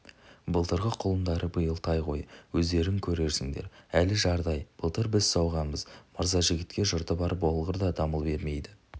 былтырғы құлындары биыл тай ғой өздерің көрерсіңдер әлі жардай былтыр біз сауғамыз мырзажігітке жұрты бар болғыр да дамыл бермейді